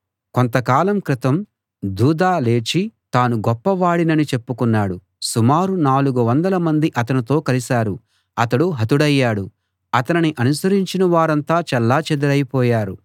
కొంతకాలం క్రితం థూదా లేచి తాను గొప్పవాడినని చెప్పుకున్నాడు సుమారు నాలుగు వందల మంది అతనితో కలిశారు అతడు హతుడయ్యాడు అతనిని అనుసరించిన వారంతా చెల్లా చెదరై పోయారు